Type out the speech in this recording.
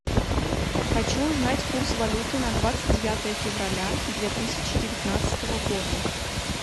хочу узнать курс валюты на двадцать девятое февраля две тысячи девятнадцатого года